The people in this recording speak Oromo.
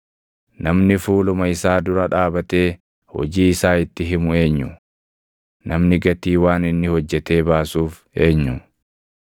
Namni fuuluma isaa dura dhaabatee hojii isaa itti himu eenyu? Namni gatii waan inni hojjetee baasuuf eenyu?